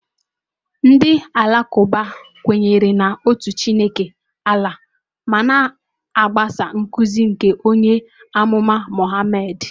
Ndị Alakụba kwenyere na otu Chineke, Allah, ma na-agbaso nkuzi nke onye amụma Muhammad.